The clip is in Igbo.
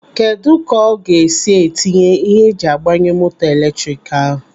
Kedụ ka ọ ga-esi etinye ihe eji agbanye moto eletrik ahụ?